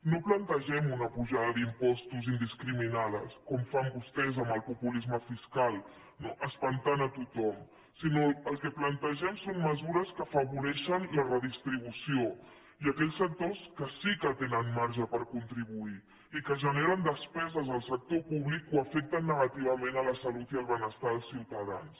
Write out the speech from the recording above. no plantegem una apujada d’impostos indiscriminada com fan vostès amb el populisme fiscal espantant a tothom sinó que el que plantegem són mesures que afavoreixen la redistribució i a aquells sectors que sí que tenen marge per contribuir i que generen despeses en el sector públic o afecten negativament la salut i el benestar dels ciutadans